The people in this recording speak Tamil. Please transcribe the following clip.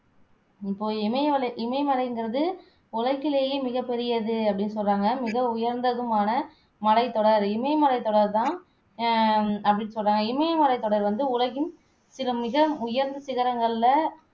இப்போ இமயமலை இமயமலைங்குறது உலகிலேயே மிகப்பெரியது அப்படின்னு சொல்லுறாங்க மிக உயர்ந்ததுமான மலைத்தொடர் இமயமலைத்தொடர் தான் அஹ் அப்படின்னு சொல்லுறாங்க இமயமலைத்தொடர் வந்து உலகின் சில மிக உயர்ந்த சிகரங்களிலே